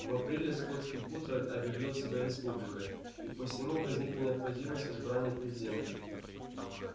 в апреле скотский хутор объявил себя республикой и посему возникла необходимость в избрании президента